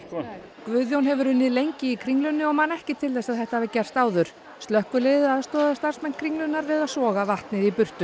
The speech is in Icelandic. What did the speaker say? Guðjón hefur unnið lengi í Kringlunni og man ekki til þess að þetta hafi gerst áður slökkviliðið aðstoðaði starfsmenn Kringlunnar við að soga vatnið í burtu